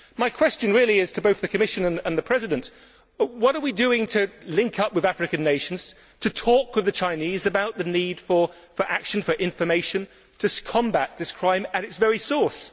My question, really, is to both the Commission and the President what are we doing to link up with African nations, to talk to the Chinese about the need for action for information, to combat this crime at its very source?